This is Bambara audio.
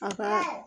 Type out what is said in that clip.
A ka